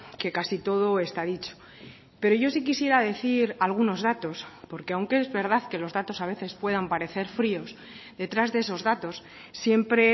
que casi todo está dicho pero yo sí quisiera decir algunos datos porque aunque es verdad que los datos a veces puedan parecer fríos detrás de esos datos siempre